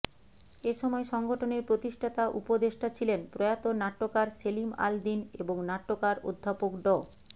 এ সময় সংগঠনের প্রতিষ্ঠাতা উপদেষ্টা ছিলেন প্রয়াত নাট্যকার সেলিম আল দ্বীন এবং নাট্যকার অধ্যাপক ড